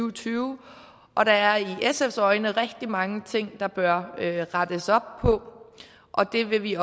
og tyve og der er i sfs øjne rigtig mange ting der bør rettes op på det vil vi